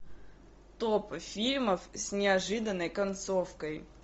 топ фильмов с неожиданной концовкой